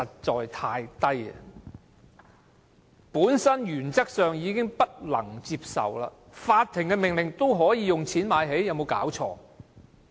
這原則本身已難以接受，法庭的命令竟可以用錢"買起"，說得通嗎？